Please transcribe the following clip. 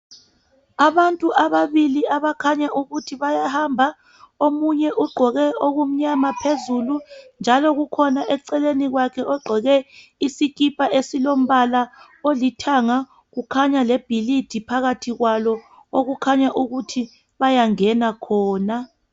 Abantu ababili abakhanya ukuthi bayahamba omunye ugqoke okumnyama phezulu njalo kukhona eceleni kwakhe ogqoke isikipa esilombala olithanga. Kukhanya lebhilidi phakathi kwalo okukhanya ukuthi bayangena khona.